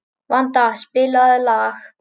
Vanda, spilaðu lag.